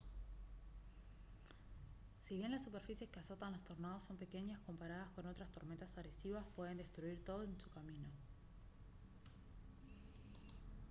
si bien las superficies que azotan los tornados son pequeñas comparadas con otras tormentas agresivas pueden destruir todo en su camino